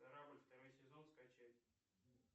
корабль второй сезон скачать